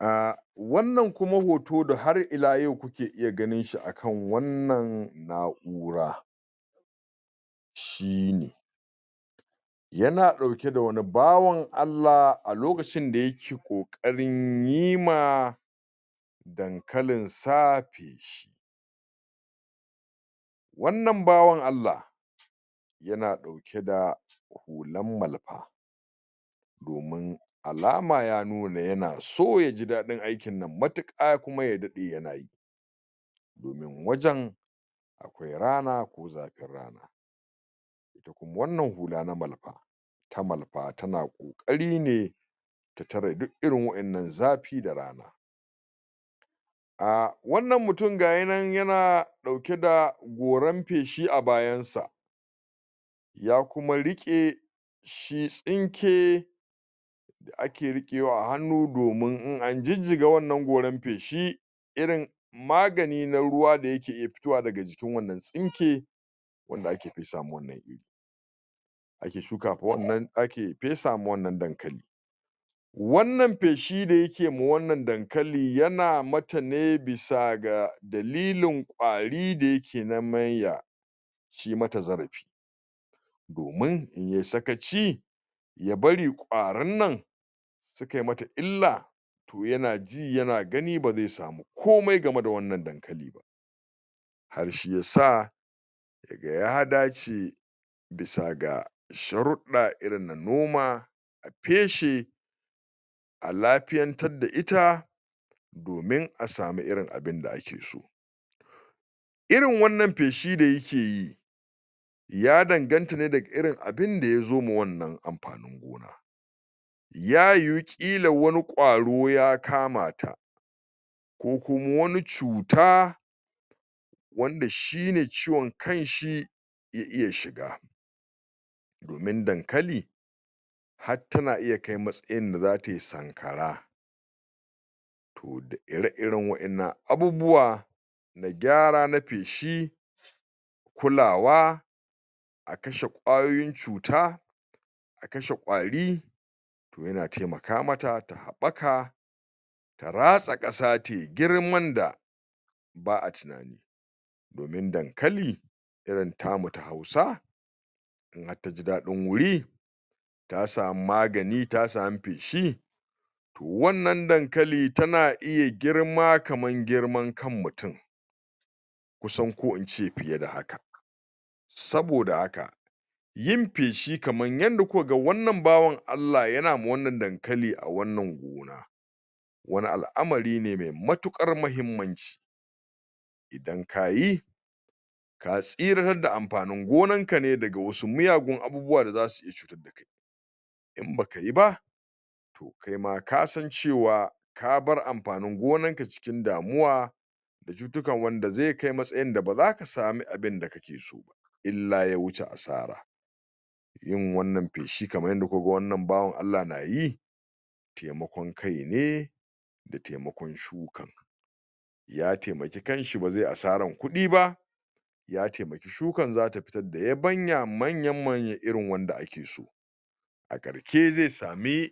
um Wannan kuma hoto da har ila yau kuke iya ganin shi akan wannan na'ura, shine yana ɗauke da wani bawan Allah a lokacin da yake ƙoƙarin yi ma dankalinsa feshi, wannan bawan Allah yana ɗauke da hulan malfa, domin alama ya nuna yana so ya ji daɗin aikin nan matiƙa kuma da daɗe yana yi, domin wajen akwai rana ko zafin rana, ita kuma wannan hula na malfa ta malfa tana ƙoƙari ne ta tare diiirin wa'innan zafi da rana, um wannan mutum ga ya nan yana ɗauke da goran feshi a bayansa, ya kuma riƙe shi tsinke da ake riƙewa a hannu domin in an jijjiga wannan goran feshi irin magani na ruwa da yake iya fitowa daga jikin wannan tsinke wanda ake fesa ma wannan iri ake shukafa wannan ake fesa ma wannan dankali, wannan feshi da yake ma wannan dankali yana mata ne bisa ga dalilin ƙwari da yake neman ya ci mata zarafi, domin in yai sakaci ya bari ƙwarinnan sikai mata illa to yana ji yana gani ba ze samu komi game da wannan dankali ba, har shi yasa yaga ya dace bisa ga sharuɗɗa irin na noma a feshe a lafiyantadda ita domin a samu irin abinda ake so, irin wannan feshi da yake yi ya danganta ne daga irin abinda ya zo ma wannan amfanin gona ya yiwu ƙila wani ƙwaro ya kama ta, ko kuma wani cuta wanda shine ciwon kanshi ya iya shiga, domin dankali hattana iya kai matsayin da zatai sankara to da ir iren wa'annan abubuwa na gyara na feshi, kulawa, a kashe ƙwayoyin cuta, a kashe ƙwari, to yana temaka mata ta haɓaka ta ratsa ƙasa tai girman da ba'a tinani, domin dankali irin tamu ta hausa in hattaji daɗin wuri ta samu magani ta samu feshi to wannan dankali tana iya girma kaman girman kan mutin, kusan ko ince fiye da haka, saboda haka yin feshi kaman yanda kuka ga wannan bawan Allah yana ma wannan dankali a wannan gona, wani al'amari ne me matuƙar mahimmanci, idan kayi ka tsiratadda amfanin gonanka ne daga wasu miyagun abubuwa da zasu iya cutadda kai, in bakayi ba to kaima kasan cewa kabar amfanin gonanka cikin damuwa da cutukan wanda ze kai matsayinda ba zaka sami abinda kake so ba illa ya wuce asara, yin wannan feshi kaman yanda kuka ga wannan bawan Allah na yi temakon kai ne da temakon shukan, ya temaki kanshi ba ze asaran kuɗi ba, ya temaki shukan zata fitar da yabanya manya manya irin wanda ake so, a ƙarshe ze sami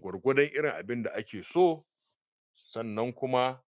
gwargwadon irin abinda ake so sannan kuma...